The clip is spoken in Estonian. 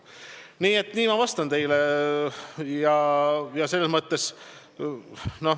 Nii et nii ma vastan teile.